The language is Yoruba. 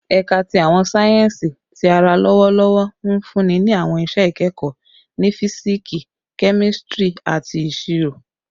Ẹka ti Awọn sáyẹnsì Ti ara lọwọlọwọ nfunni ni awọn iṣẹ ikẹkọ ni Fisiksi, Kemistri, ati Iṣiro